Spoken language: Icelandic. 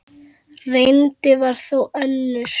Reyndin var þó önnur.